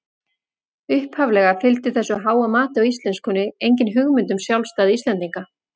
Upphaflega fylgdi þessu háa mati á íslenskunni engin hugmynd um sjálfstæði Íslendinga.